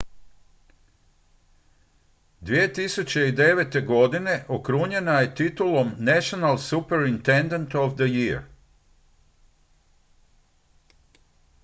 2009. godine okrunjena je titulom national superintendent of the year